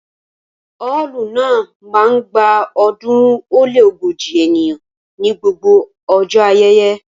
Ọ́ọ̀lù náà máa ń gba ọ̀ọ́dúnrún ó lé ógójì ènìyàn ní gbogbo ọjọ́ ayẹyẹ